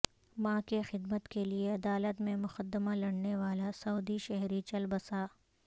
ماں کی خدمت کے لیے عدالت میں مقدمہ لڑنے والا سعودی شہری چل بسا